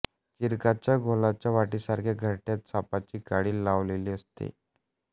चीरकाच्या गोलाकार वाटीसारख्या घरट्यात सापाची कात लावलेली असते